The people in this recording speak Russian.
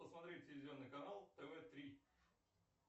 посмотреть телевизионный канал тв три